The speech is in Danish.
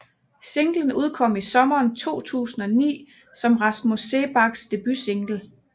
Singlen udkom i sommeren 2009 som Rasmus Seebachs debutsingle